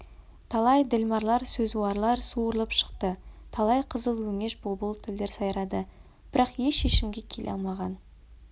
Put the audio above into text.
талай ділмарлар сөзуарлар суырылып шықты талай қызыл өңеш бұлбұл тілдер сайрады бірақ еш шешімге келе алмаған